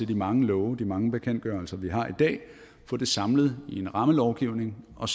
de mange love og de mange bekendtgørelser vi har i dag og få det samlet i en rammelovgivning og